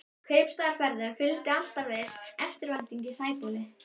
Kaupstaðarferðum fylgdi alltaf viss eftirvænting í Sæbóli.